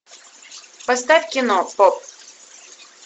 поставь кино поп